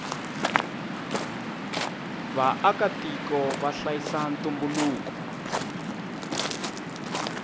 vaaka tiko vahlayisa ntumbuluko